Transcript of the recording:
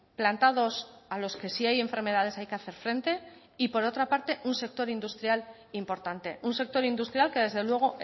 plantados a los que si hay enfermedades hay que hacer frente y por otra parte un sector industrial importante un sector industrial que desde luego